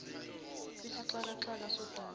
kwisixaka xaka sodaba